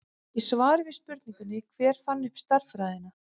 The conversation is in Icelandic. Í svari við spurningunni Hver fann upp stærðfræðina?